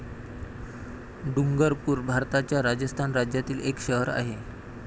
डुंगरपूर भारताच्या राजस्थान राज्यातील एक शहर आहे.